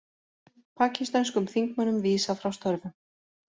Pakistönskum þingmönnum vísað frá störfum